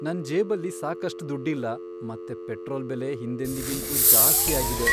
ನನ್ ಜೇಬಲ್ಲಿ ಸಾಕಷ್ಟ್ ದುಡ್ಡಿಲ್ಲ ಮತ್ತೆ ಪೆಟ್ರೋಲ್ ಬೆಲೆ ಹಿಂದೆಂದಿಗಿಂತ್ಲೂ ಜಾಸ್ತಿ ಆಗಿದೆ.